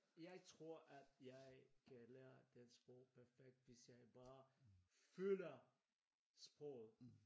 Jeg tror at jeg kan lære den sprog perfekt hvis jeg bare føler sproget